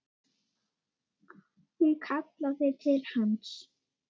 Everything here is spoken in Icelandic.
Hún kallaði til hans.